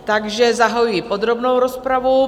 Takže zahajuji podrobnou rozpravu.